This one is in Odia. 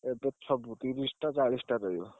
ଏବେ ସବୁ ତିରିଶିଟା ଚାଳିଶିଟା ରହିବ।